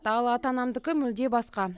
ал ата анамдікі мүлде басқа